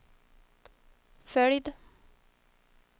följd